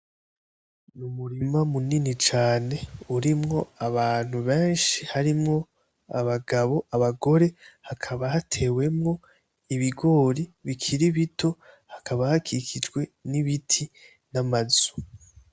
Umurima munini cane urimwo abantu beshi harimwo abagabo, abagore hakaba hatewemwo ibigori bikiri bito hakaba hakikijwe n'ibiti n'amazu.